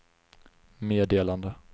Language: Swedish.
meddelande